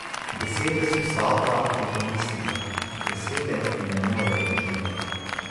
Besede so sapa, je pomislila, besede mi ne morejo do živega.